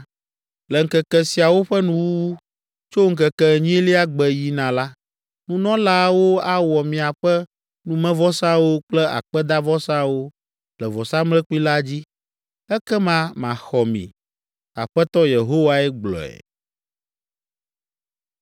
Le ŋkeke siawo ƒe nuwuwu, tso ŋkeke enyilia gbe yina la, nunɔlaawo awɔ miaƒe numevɔsawo kple akpedavɔsawo le vɔsamlekpui la dzi. Ekema maxɔ mi. Aƒetɔ Yehowae gblɔe.”